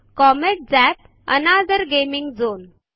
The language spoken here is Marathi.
comet zap another gaming zone